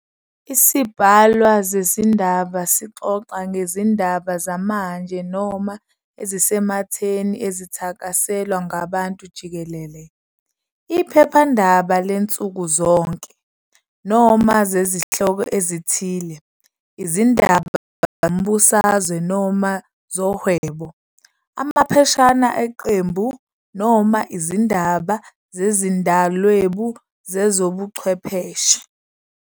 Isibhalwa sezindaba sixoxa ngezindaba zamanje noma ezisematheni ezithakaselwa ngabantu jikelele, i.e. iphephandaba lansukuzonke, noma zesihloko esithile, i.e. izindaba zombusazwe noma zohwebo, amapheshana eqembu, noma izindaba zezizindalwebu zezobuchwepheshe.